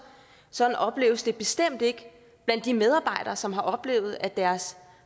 sådan opleves det bestemt ikke blandt de medarbejdere som har oplevet at deres